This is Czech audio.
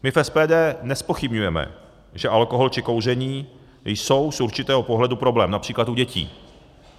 My v SPD nezpochybňujeme, že alkohol či kouření jsou z určitého pohledu problém, například u dětí.